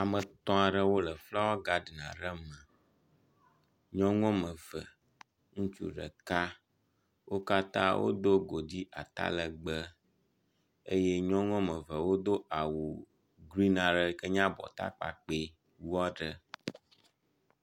Ame etɔ̃ aɖewo le flawa gaɖin aɖe me, nyɔnu woame eve, ŋutsu ɖeka, wo katã wodo godui atalegbe eye nyɔnu woame eve wodo awu grin aɖe yike nye awu abɔta kpakpɛ wu aɖe.